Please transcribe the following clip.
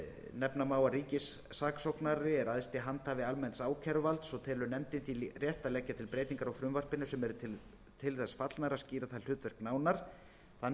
nefna má að ríkissaksóknari er æðsti handhafi almenns ákæruvalds og telur nefndin því rétt að leggja til breytingar á frumvarpinu sem eru til þess fallnar að skýra það hlutverk nánar þannig